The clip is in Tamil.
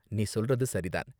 நீ சொல்றது சரி தான்.